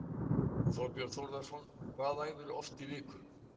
Þorbjörn Þórðarson: Hvað æfirðu oft í viku?